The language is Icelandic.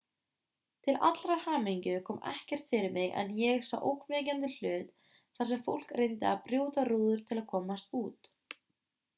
til allrar hamingju kom ekkert fyrir mig en ég sá ógnvekjandi hluti þar sem fólk reyndi að brjóta rúður til að komast út